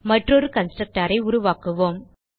மற்றொரு constructorஐ உருவாக்குவோம்